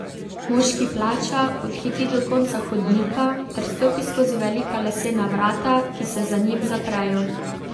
Moški plača, odhiti do konca hodnika ter stopi skozi velika lesena vrata, ki se za njim zaprejo.